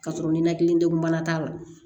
Ka sɔrɔ ninakili degun bana t'a la